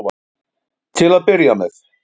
Til að byrja með.